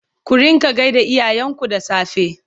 ku rinƙa gaida iyayen ku da safe!